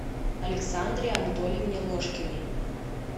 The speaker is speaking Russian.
александре анатольевне ложкиной